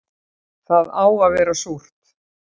Það á að vera súrt